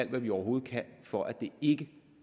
vi overhovedet kan for at det ikke